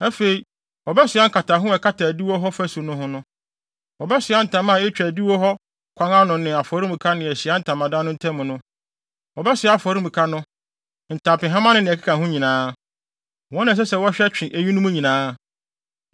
Afei, wɔbɛsoa nkataho a ɛkata adiwo hɔ fasu no ho no. Wɔbɛsoa ntama a etwa adiwo hɔ kwan no ano ne afɔremuka ne Ahyiae Ntamadan no ntam no. Wɔbɛsoa afɔremuka no, ntampehama ne nea ɛkeka ho nyinaa. Wɔn na ɛsɛ sɛ wɔhwɛ twe eyinom nyinaa.